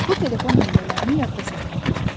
Bu telefon nömrələrini yadda saxla.